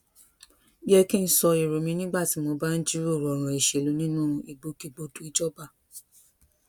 yẹ kí n sọ èrò mi nígbà tí mo bá ń jíròrò òràn ìṣèlú nínú ìgbòkègbodò ìjọba